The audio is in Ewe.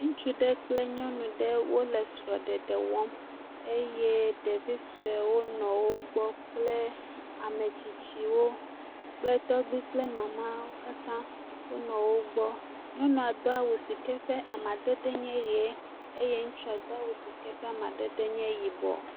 Ŋutsu ɖe kple nyɔnu ɖe wole srɔ̃ɖeɖe wɔm eye ɖevi suewo nɔ wo gbɔ kple ame tsitsiwo kple tɔgbi kple mamawo, katã wonɔ wo gbɔ, nyɔnua do awu si ke ƒe amadede nye ye eye ŋutusa do awu si ke ƒe amadede le yibɔ.